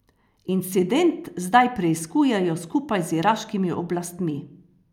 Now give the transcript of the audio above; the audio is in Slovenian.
Incident zdaj preiskujejo skupaj z iraškimi oblastmi.